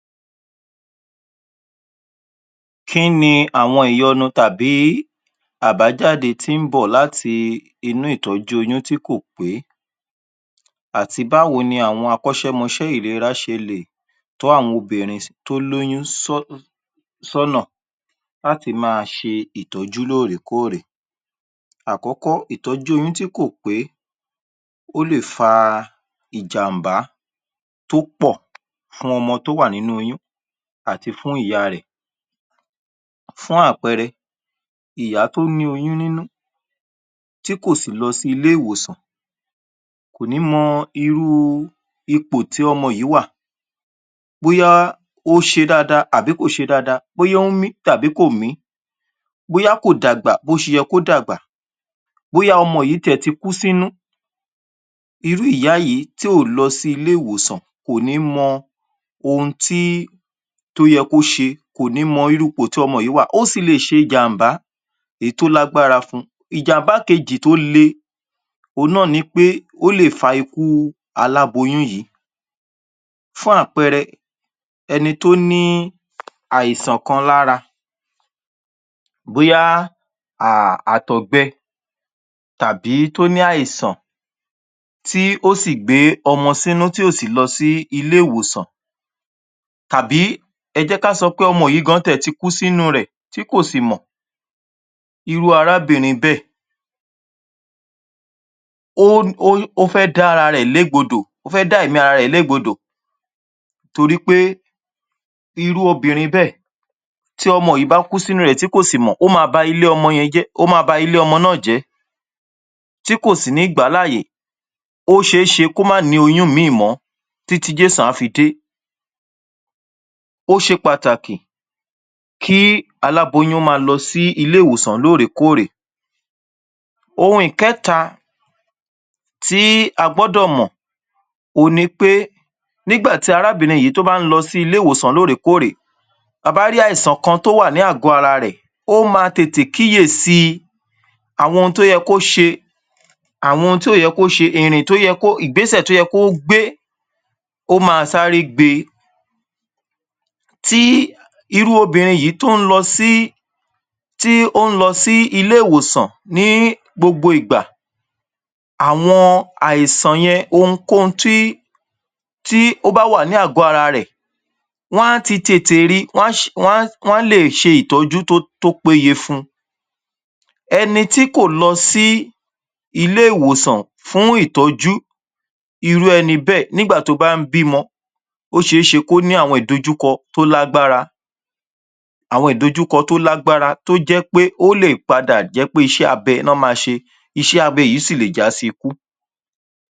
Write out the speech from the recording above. kínni àǹfàní èyí tí ó wà ní kí á fún ọmọ ní ọmú fún òṣù mẹ́fà àkọ́kọ́ kínni à ń pè ní ká fún ọmọ ní ọmú dún òṣù mẹ́fà àkọ́kọ́ ìtúmọ rẹ̀ ẹ̀ ni wípé ọmọ kò ní mú omi ọmọ kò ní gba ògì kò ní gba mílíkì àti bẹ́ẹ̀bẹ́ẹ̀ lọ ọ ó ma jẹ́ ẹ́ ọmú èyí tí ìyá rẹ̀ ẹ̀ fun-un nìkan ṣoṣo láì fí ohunkóhun sí í ìtúmọ̀ èyí ni wípé fún òsù mẹ́fà àkọ́kọ́ ọmọ yìí ohun tí yíò má jẹ́ à’tàárọ̀ à’tọ̀sán à’talẹ́ òhun ni ọmú kò ní jẹ óúnjẹ míràn tó yàtọ̀ sí ọmú yìí ó sì ní àwọn àǹfàní tó dára tó pọ̀ ọ̀ àkọ́kọ́ ọpọlọ ọmọ yìí má a jí pépé kò sí ọmọ tó m’ọmú fún òsù mẹ́fà àkọ́kọ́ tí kì í mọ̀wé ọpọlọ rẹ̀ ẹ̀ má a jí pépé ohun ikéjì ta ní láti mọ̀ ni pé ó ma dáábòòbò ọmọ yíì ó ma dáábòòbò ìlera rẹ̀ ẹ̀ irú ọmọ yìí kò sí àìsàn kankan tó lè wà á sí ọ̀dọ̀ ọ̀ rẹ̀ ẹ̀ torí ohun gbogbo tó nílò láti borí àìsàn ọlọ́run ti da mọ́ ọmú obìǹrin bí ó yí ń gba ọmú yìí gbogbo ohun tó yẹ kó ó á ma a wọ àgọ́ ara rẹ̀ ẹ̀ tí àìsàn kan bá fẹ́ wá á àwọn ohun tí ó ti gbà tó wà lára àwọn èròǹjà tó wà ninú ọmú yìí ló ma lé àwọn àìsàn náà kúrò irú ọmọ náà ní ilé ìwé e rẹ̀ ẹ̀ ó ẹ ma daamọ̀ torí pé yí ò já fáfá ní ilé-ìwé ọmọ tí atún fún ní ọmú pátápátá yìí ó ma kò ní sí í ohun tí à ń pè è ní àìsàn jẹjẹrẹ àìsàn ikọ́ àìsàn ìbà àìsàn etí tàbí àìsàn ara kò ní sí ohun tó ń jẹ́bẹ́ torí àwọn èròǹjà tó ní láti pa a àwọn àìsàn yìí ó ti wà ní ọmú náà ohun tí ótún ṣe pàtàkì láti mọ̀ ọ̀ òhun ni wípé ọmọ yìí yi ò ní agbárá púpọ̀ yí ò ní agbára láti ṣe ohunkóhun bẹ́ ẹ̀ gẹ́gẹ́ àwọn ọ̀mú omi ọmú yìí ó ní omi ohun tí ọmọ yìí nílò ó ní vítámì tí ọmọ yìí ní lò óní mínírà tí ọmọ yìí ní lò láti dàgbà dáadáa